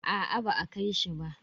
Aa ba a kai shi ba.